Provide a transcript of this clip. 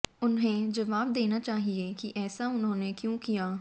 उन्हे जवाब देना चाहिए कि ऐसा उन्होंने क्यों किया